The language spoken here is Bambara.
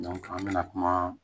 an bɛna kuma